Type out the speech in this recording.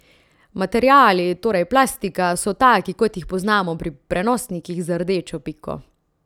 Materiali, torej plastika, so taki, kot jih poznamo pri prenosnikih z rdečo piko.